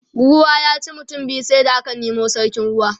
ruwa ya ci mutum biyu sai da aka Nemo sarkin ruwa